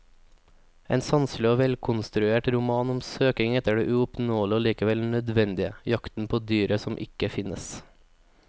En sanselig og velkonstruert roman om søkingen etter det uoppnåelige og likevel nødvendige, jakten på dyret som ikke finnes.